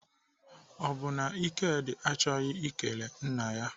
Ọ bụ na Ikedi achọghị ikele nna ya?